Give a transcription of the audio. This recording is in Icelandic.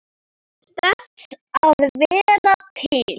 Þess að vera til.